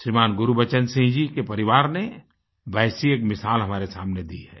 श्रीमान् गुरबचन सिंह जी के परिवार ने वैसी एक मिसाल हमारे सामने दी है